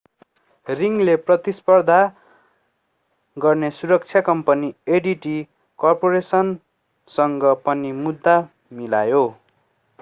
रिङले प्रतिस्पर्धा गर्ने सुरक्षा कम्पनी adt कर्पोरेसनसँग पनि मुद्दा मिलायो